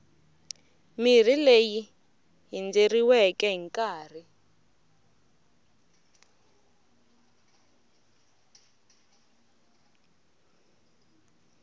mirhi leyi hindzeriweke hi nkarhi